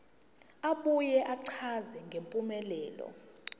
abuye achaze ngempumelelo